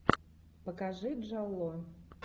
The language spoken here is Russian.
покажи джалло